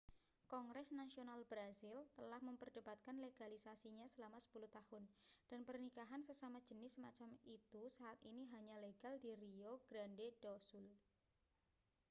kongres nasional brazil telah memperdebatkan legalisasinya selama 10 tahun dan pernikahan sesama jenis semacam itu saat ini hanya legal di rio grande do sul